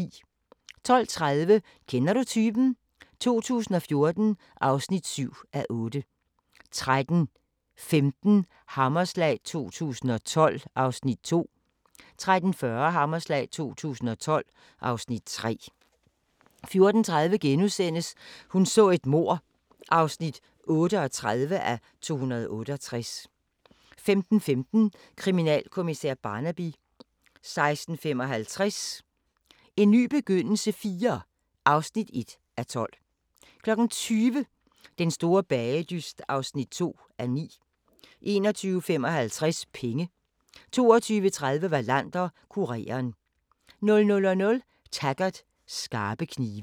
12:30: Kender du typen? 2014 (7:8) 13:15: Hammerslag 2012 (Afs. 2) 13:40: Hammerslag 2012 (Afs. 3) 14:30: Hun så et mord (38:268)* 15:15: Kriminalkommissær Barnaby 16:55: En ny begyndelse IV (1:12) 20:00: Den store bagedyst (2:9) 21:55: Penge 22:30: Wallander: Kureren 00:00: Taggart: Skarpe knive